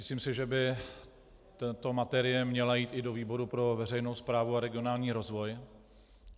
Myslím si, že by tato materie měla jít i do výboru pro veřejnou správu a regionální rozvoj.